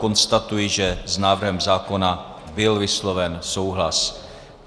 Konstatuji, že s návrhem zákona byl vysloven souhlas.